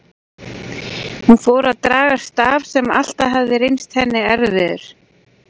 Hún fór að draga staf sem alltaf hafði reynst henni erfiður.